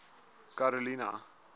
karolina